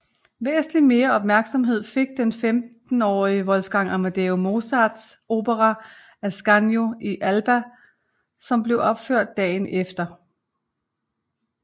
Væsentlig mere opmærksomhed fik den femtenårige Wolfgang Amadeus Mozarts opera Ascanio in Alba som blev opført dagen efter